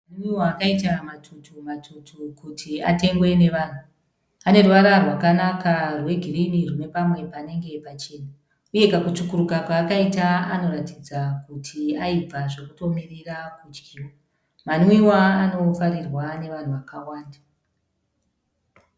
Manwiwa akaita matutu- matutu kuti atengwe nevanhu. Ane ruvara rwakanaka rwegirini rune pamwe panenge pachena. Uye kakutsvukuruka kaakaita anoratidza kuti aibva zvokutomirira kudyiwa. Manwiwa anofarirwa nevanhu vakwanda.